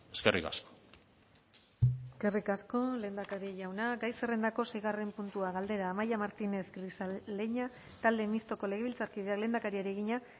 eskerrik asko eskerrik asko lehendakari jauna gai zerrendako seigarren puntua galdera amaia martínez grisaleña talde mistoko legebiltzarkideak lehendakariari egina